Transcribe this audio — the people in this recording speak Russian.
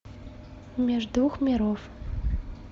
меж двух миров